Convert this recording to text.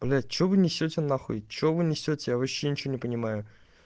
блять что вы несёте на хуй что вы несёте я вообще ничего не понимаю